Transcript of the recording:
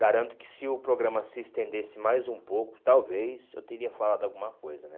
Garanto que se o programa se estendesse mais um pouco, talvez eu teria falado alguma coisa, né?